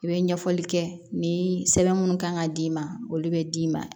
I bɛ ɲɛfɔli kɛ ni sɛbɛn minnu kan ka d'i ma olu bɛ d'i ma